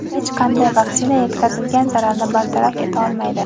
hech qanday vaksina yetkazilgan zararni bartaraf eta olmaydi.